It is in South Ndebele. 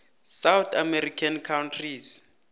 south american countries